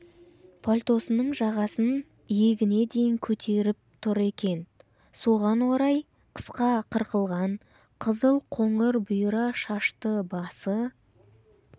пальтосының жағасын иегіне дейін көтеріп тұр екен соған орай қысқа қырқылған қызыл-қоңыр бұйра шашты басы